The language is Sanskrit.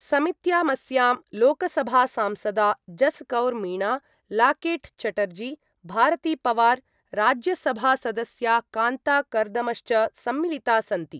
समित्यामस्यां लोकसभासांसदा जसकौर मीणा, लाकेट् चटर्जी, भारतीपवार, राज्यसभासदस्या कान्ता कर्दमश्च सम्मिलिता सन्ति।